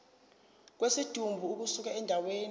kwesidumbu ukusuka endaweni